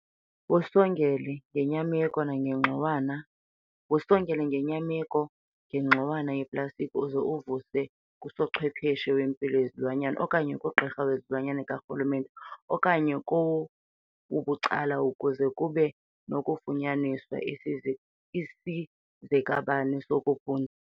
Wusongele ngenyameko ngengxowana yeplastiki uze uvuse kusochwepheshe wempilo yezilwanyana okanye kugqirha wezilwanyana karhulumente okanye kowabucala ukuze kube nokufunyaniswa isizekabani sokuphu.